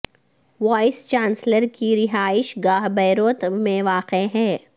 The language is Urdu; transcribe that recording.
وائس چانسلر کی رہائش گاہ بیروت میں واقع ہے